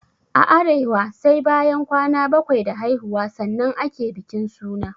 A arewa sai bayan kwana bakwai da haihuwa sannan ake bikin suna